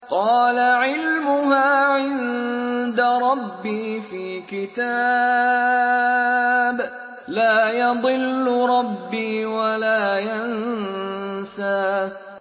قَالَ عِلْمُهَا عِندَ رَبِّي فِي كِتَابٍ ۖ لَّا يَضِلُّ رَبِّي وَلَا يَنسَى